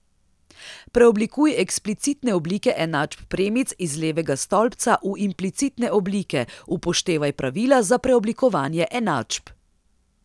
Preoblikuj eksplicitne oblike enačb premic iz levega stolpca v implicitne oblike, upoštevaj pravila za preoblikovanje enačb.